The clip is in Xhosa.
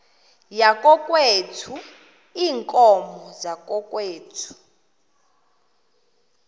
yakokwethu iinkomo zakokwethu